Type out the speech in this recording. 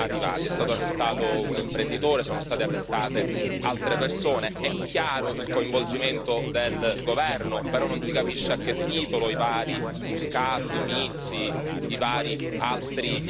Ora, dopo due anni, a che punto siamo arrivati? È stato arrestato un imprenditore, sono state arrestate altre persone, è chiaro il coinvolgimento del governo, però non si capisce a che titolo i vari Muscat, Mizzi, i vari altri